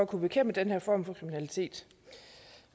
kunne bekæmpe den her form for kriminalitet